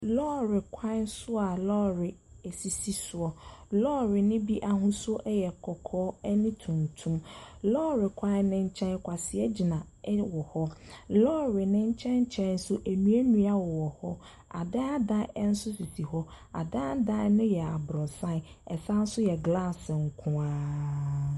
Lɔɔrekwan a lɔɔre sisi so. Lɔɔre no bi yɛ n'ahosu yɛ kɔkɔɔ ne tuntum. Lɔɔre kwan no kyɛn kwasea gyina hɔ. Lɔɔre no kyɛn kyɛn nso nnua nnua nso si hɔ. Adan adan nso sisi hɔ. Adan adan no yɛ abrɔsan, ɛsan nso yɛ glass nko ara.